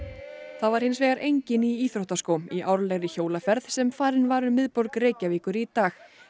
það var hinsvegar enginn í íþróttaskóm í árlegri hjólaferð sem farin var um miðborg Reykjavíkur í dag